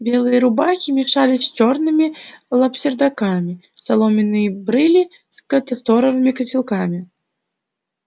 белые рубахи мешались с чёрными лапсердаками соломенные брыли с касторовыми котелками тёмные хустки с светлыми платьями